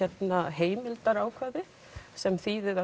heimildarákvæði sem þýðir að